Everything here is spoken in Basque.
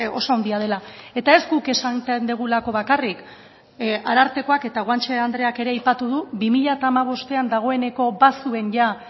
oso handia dela eta ez guk esaten dugulako bakarrik arartekoak eta guanche andreak ere aipatu du bi mila hamabostean dagoeneko